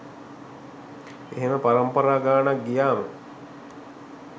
එහෙම පරම්පරා ගානක් ගියාම